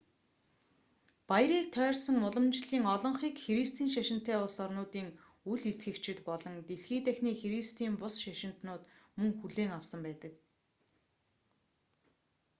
баярыг тойрсон уламжлалын олонхийг христийн шашинтай улс орнуудын үл итгэгчид болон дэлхий дахины христийн бус шашинтнууд мөн хүлээн авсан байдаг